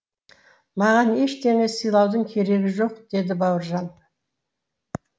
маған ештеңе сыйлаудың керегі жоқ деді бауыржан